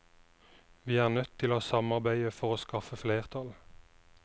Vi er nødt til å samarbeide for å skaffe flertall.